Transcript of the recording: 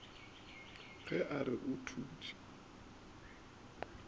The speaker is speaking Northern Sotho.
ge a re o thutše